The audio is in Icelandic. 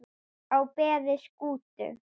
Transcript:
á beði Skútu